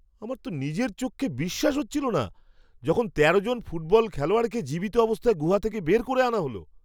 আমার তো নিজের চোখকে বিশ্বাস হচ্ছিল না যখন তেরোজন ফুটবল খেলোয়াড়কে জীবিত অবস্থায় গুহা থেকে বের করে আনা হল!